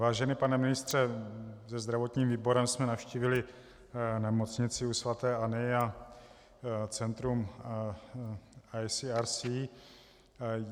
Vážený pane ministře, se zdravotním výborem jsme navštívili nemocnici u sv. Anny a centrum ICRC.